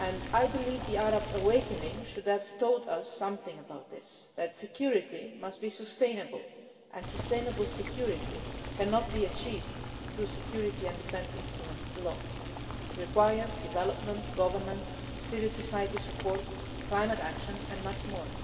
I believe the Arab awakening should have told us something about this that security must be sustainable, and sustainable security cannot be achieved through security and defence instruments alone. It requires development, governance, civil society support, climate action and much more.